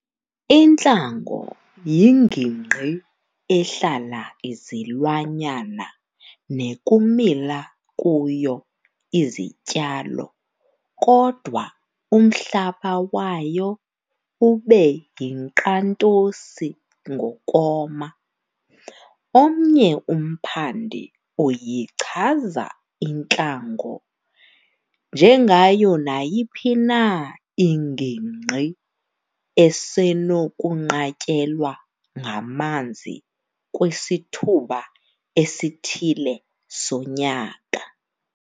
Intlango yingingqi ehlala izilwanyana nekumila kuyo izityalo kodwa umhlaba wayo ube yinkqantosi ngokoma. Omnye umphandi uyichaza intlango "njengayo nayiphi na ingingqi esenokunqatyelwa ngamanzi kwisithuba esithile sonyaka.